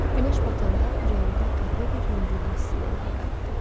Günəş batanda ürəyimdə qəribə bir yüngüllük hissi ilə evə qayıtdım.